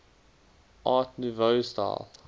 art nouveau style